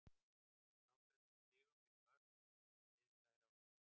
Að frádregnum stigum fyrir mörk sem liðið fær á sig.